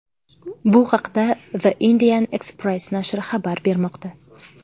Bu haqda The Indian Express nashri xabar bermoqda .